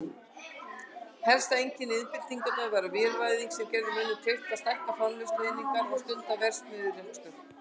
Helsta einkenni iðnbyltingarinnar var vélvæðing sem gerði mönnum kleift að stækka framleiðslueiningar og stunda verksmiðjurekstur.